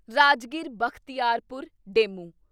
Rajgir Bakhtiarpur DEMU